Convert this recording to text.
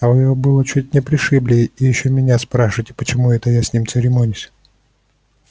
а вы его было чуть не пришибли и ещё меня спрашиваете почему это я с ним церемонюсь